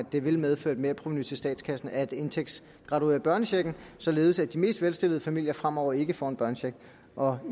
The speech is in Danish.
det vil medføre et merprovenu til statskassen at indtægtsgraduere børnechecken således at de mest velstillede familier fremover ikke får en børnecheck og